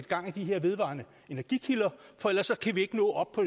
gang i de her vedvarende energikilder for ellers kan vi ikke nå op på